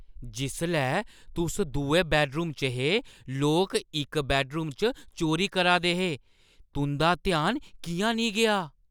जिसलै तुस दुए बैड्डरूम च हे, लोक इक बैड्डरूम च चोरी करा दे हे, तुंʼदा ध्यान किʼयां नेईं गेआ?